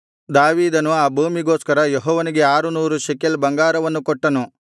ದಾವೀದನು ಆ ಭೂಮಿಗೋಸ್ಕರ ಅವನಿಗೆ ಆರುನೂರು ಶೆಕಲ್ ಬಂಗಾರವನ್ನು ಕೊಟ್ಟನು